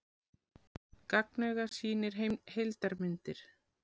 Gagnauga sýnir heimildarmyndir